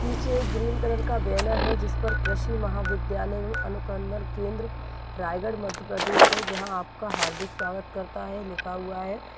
पीछे green colour का banner है जिस पर कृषि महाविद्यालय अनुसन्धन केंद्र रायगढ़ मध्य प्रदेश है जहां आपका हार्दिक स्वागत करता है लिखा हुआ है ।